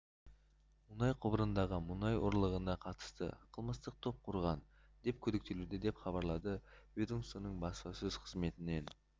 мұнай құбырындағы мұнай ұрлығына қатысты қылмыстық топ құрған деп күдіктелуде деп хабарлады ведомствоның баспасөз қызметінен